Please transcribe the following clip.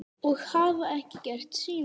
Og hafa ekki gert síðan.